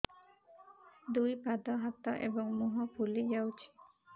ଦୁଇ ପାଦ ହାତ ଏବଂ ମୁହଁ ଫୁଲି ଯାଉଛି